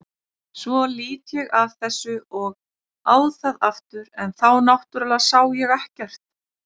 Svo lít ég af þessu og á það aftur en þá náttúrlega sá ég ekkert.